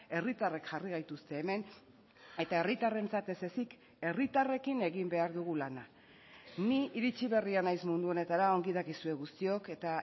herritarrek jarri gaituzte hemen eta herritarrentzat ezezik herritarrekin egin behar dugu lana ni iritsi berria naiz mundu honetara ongi dakizue guztiok eta